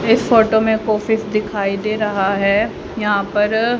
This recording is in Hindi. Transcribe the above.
इस फोटो में एक ऑफिस दिखाई दे रहा है यहां पर--